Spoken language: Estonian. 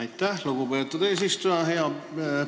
Aitäh, lugupeetud eesistuja!